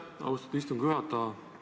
Aitäh, austatud istungi juhataja!